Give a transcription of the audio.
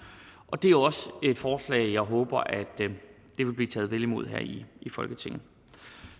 og det er også et forslag som jeg håber vil blive taget vel imod her i folketinget